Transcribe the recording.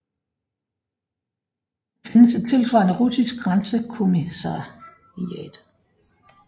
Der findes et tilsvarende russisk grænsekommissariat